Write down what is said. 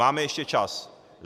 Máme ještě čas.